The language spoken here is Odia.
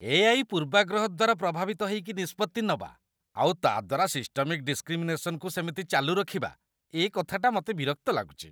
ଏ.ଆଇ. ପୂର୍ବାଗ୍ରହ ଦ୍ୱାରା ପ୍ରଭାବିତ ହେଇକି ନିଷ୍ପତ୍ତି ନବା, ଆଉ ତା' ଦ୍ୱାରା ସିଷ୍ଟମିକ୍ ଡିସ୍କ୍ରିମିନେସନକୁ ସେମିତି ଚାଲୁରଖିବା, ଏ କଥାଟା ମତେ ବିରକ୍ତ ଲାଗୁଚି ।